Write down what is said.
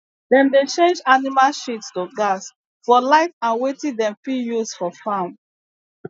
dem dey change animal shit to gas for light and wetin dem fit use for farm